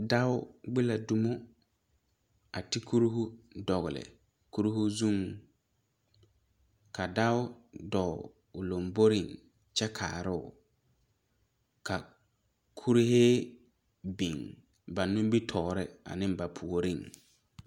Dɔo gbe la domo a te kuri dogle kuri zuŋ ka dɔo dɔɔ o lanbore kyɛ kaaro ka kurɛɛ biŋ ba nimitɔɔre a ne ba puori.